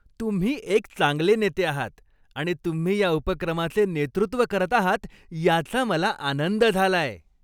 तुम्ही एक चांगले नेते आहात आणि तुम्ही या उपक्रमाचे नेतृत्व करत आहात याचा मला आनंद झालाय.